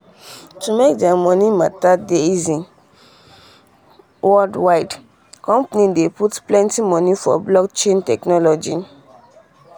to make dia money matter dey easy dey easy worldwidethe um company dey um put plenty money for blockchain technology.